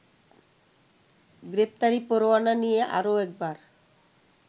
গ্রেপ্তারি পরোয়ানা নিয়ে আরও একবার